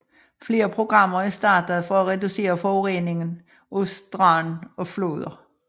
Flere programmer er startet for at reducere forureningen af strande og floder